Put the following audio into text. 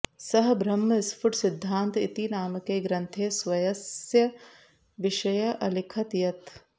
सः ब्रह्मस्फुट सिद्धान्त इति नामके ग्रन्थे स्वस्य विषये अलिखत् यत्